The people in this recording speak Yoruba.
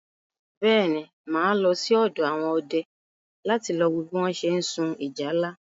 Bẹ́ẹ̀ ni, mà á lọ sí ọ̀dọ̀ àwọn ọdẹ láti wo bí wọ́n ṣe ń sun ìjálá.